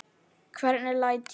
Hvernig læt ég.